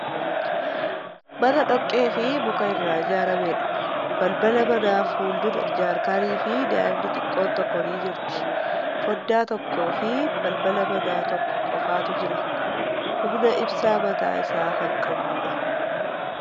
Mana dhoqqee fi muka irraa ijaarameedha. Balbala manaa fuuldura jaarkaanii fi daa'imni xiqqoon tokko ni jirti. Fooddaa tokkoo fii balbala manaa tokko qofatu jira. Humna ibsaa mataa isaa kan qabuudha.